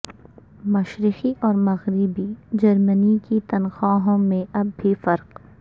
مشرقی اور مغربی جرمنی کی تنخواہوں میں اب بھی فرق